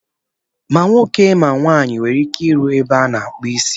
Ma nwoke ma nwaanyị nwere ike ịrụ n'ebe a na-akpụ isi.